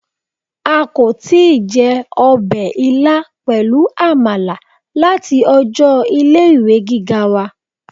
A kò tíì je ọbè ilá pẹlú àmàlà láti ọjọ ilé ìwé gíga wa